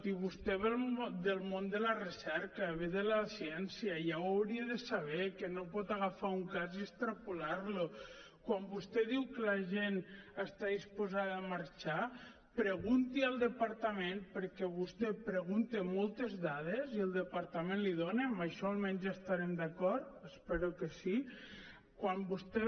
i vostè ve del món de la recerca ve de la ciència ja ho hauria de saber que no pot agafar un cas i extrapolar lo quan vostè diu que la gent està disposada a marxar pregunti al departament perquè vostè pregunta moltes dades i el departament les hi dona en això almenys estarem d’acord espero que sí quan vostè